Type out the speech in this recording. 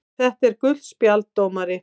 . þetta er gult spjald dómari!!!